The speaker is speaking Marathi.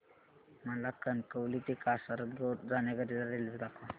मला कणकवली ते कासारगोड जाण्या करीता रेल्वे दाखवा